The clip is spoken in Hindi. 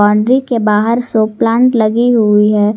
हंड्री के बाहर सो प्लांट लगी हुई है।